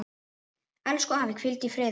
Elsku afi, hvíldu í friði.